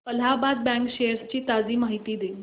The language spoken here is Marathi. अलाहाबाद बँक शेअर्स ची ताजी माहिती दे